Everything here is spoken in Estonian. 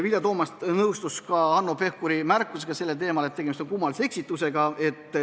Vilja Toomast nõustus Hanno Pevkuri märkusega sellel teemal, et tegemist on kummalise eksitusega.